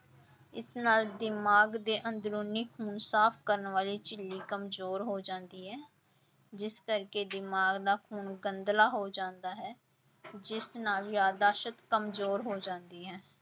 ਇਸ ਨਾਲ ਦਿਮਾਗ ਦੇ ਅੰਦਰੂਨੀ ਖੂਨ ਸਾਫ਼ ਕਰਨ ਵਾਲੀ ਝਿੱਲੀ ਕੰਮਜ਼ੋਰ ਹੋ ਜਾਂਦੀ ਹੈ ਜਿਸ ਕਰਕੇ ਦਿਮਾਗ ਦਾ ਖ਼ੂਨ ਗੰਧਲਾ ਹੋ ਜਾਂਦਾ ਹੈ ਜਿਸ ਨਾਲ ਯਾਦਾਸ਼ਤ ਕੰਮਜ਼ੋਰ ਹੋ ਜਾਂਦੀ ਹੈ।